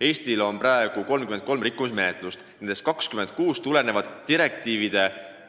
Eestil on praegu tegu 33 rikkumismenetlusega, millest 26 tulenevad direktiivide